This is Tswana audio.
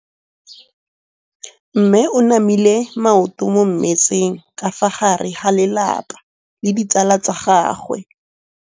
Mme o namile maoto mo mmetseng ka fa gare ga lelapa le ditsala tsa gagwe.